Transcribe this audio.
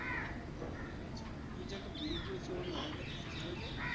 ও আচ্ছা তুই যাকে বিয়ে করেছিলি ওর নামটা কি ছিল যে?